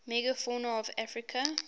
megafauna of africa